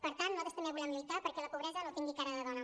per tant nosaltres també volem lluitar perquè la pobresa no tingui cara de dona